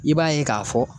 I b'a ye k'a fɔ